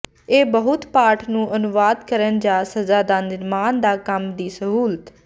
ਇਹ ਬਹੁਤ ਪਾਠ ਨੂੰ ਅਨੁਵਾਦ ਕਰਨ ਜ ਸਜ਼ਾ ਦਾ ਨਿਰਮਾਣ ਦਾ ਕੰਮ ਦੀ ਸਹੂਲਤ